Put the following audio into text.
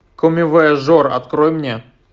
коммивояжер открой мне